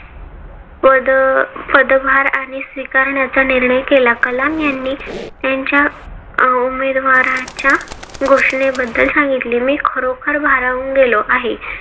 पद पदभार आणि स्वीकारण्याचा निर्णय केला. कलाम यांनी त्यांच्या उमेदवाराच्या घोषणेबद्दल सांगितले. मी खरोखर भारावून गेलो आहे.